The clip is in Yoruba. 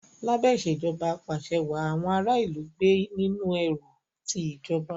Lábé Ìṣèjọba Ap'àṣẹwàá, àwọn ará ìlú gbé nínú ẹ̀rù ti ìjọba